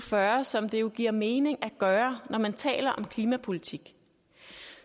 fyrre som det jo giver mening at gøre når man taler om klimapolitik